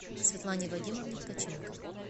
светлане вадимовне ткаченко